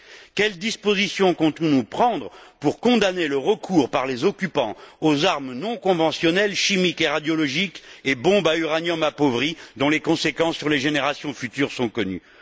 Quelles dispositions comptons nous prendre pour condamner le recours des occupants aux armes non conventionnelles chimiques et radiologiques et aux bombes à uranium appauvri dont les conséquences sur les générations futures sont connues?